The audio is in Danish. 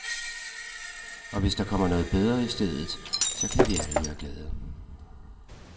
Og hvis der kommer noget bedre i stedet, så kan vi alle være glade.